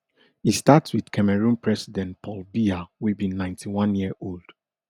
e start wit cameroon president paul biya wey be ninety-one year old